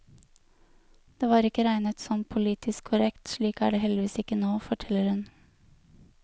Det var ikke regnet som politisk korrekt, slik er det heldigvis ikke nå, forteller hun.